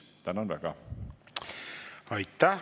Tänan väga!